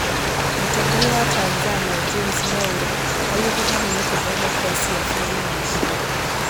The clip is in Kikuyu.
Mũtongoria wa Tanzania James Mwaura augĩte ndaninĩte demokrasia bũrũri-inĩ ũcio